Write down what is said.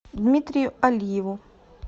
дмитрию алиеву